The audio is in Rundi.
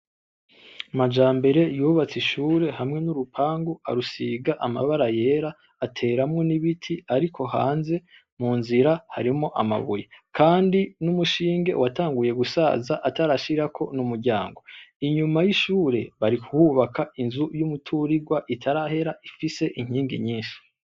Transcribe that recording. Majambere yubatse ishure hamwe n'urupangu arusiga amabara yera, ateramwo n'ibiti, ariko hanze mu nzira harimwo amabuye kandi n'umushinge watanguye gusaza atarashirako n'umuryango, inyuma y'ishure barikuhubaka inzu y'umuturigwa itarahera ifise inkingi nyinshi.